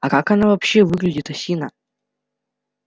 а как она вообще выглядит осина